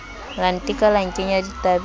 la nteka la nkenya ditabeng